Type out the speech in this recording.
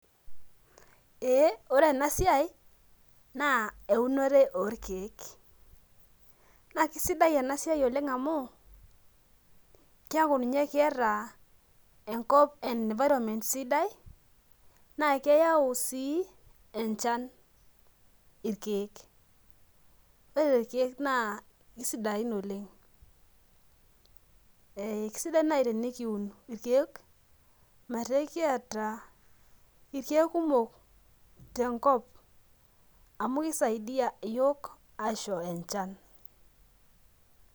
Ore ena siai naa eunore orkeek naa keisidai ena siai oleng amu keeku ninye keeta enkop environment sidai ,naa keyau sii enchan irkeek ,ore ikeek naa keisidai oleng, eisidai naaji tenikiun irkeek metaa ekiata irkeek kumok tenkop amu keisaidia yiok ayau enchan.